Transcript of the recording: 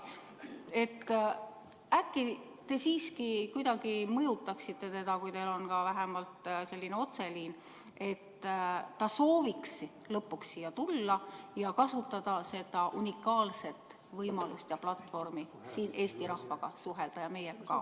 Äkki te siiski kuidagi mõjutaksite teda, kui teil on vähemalt selline otseliin, et ta sooviks lõpuks siia tulla ja kasutada siin seda unikaalset võimalust ja platvormi suhelda Eesti rahvaga ja meiega ka.